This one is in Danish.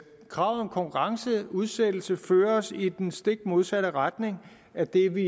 kravet om konkurrenceudsættelse fører os i den stik modsatte retning af det vi